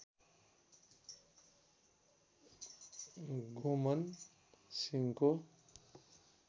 गोमन सिंहको